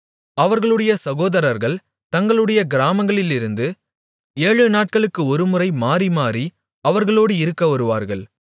அவர்களுடைய சகோதரர்கள் தங்களுடைய கிராமங்களிலிருந்து ஏழுநாட்களுக்கு ஒருமுறை மாறிமாறி அவர்களோடு இருக்க வருவார்கள்